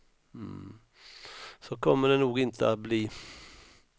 Så kommer det nog inte att bli.